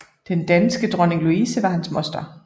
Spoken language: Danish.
Den danske dronning Louise var hans moster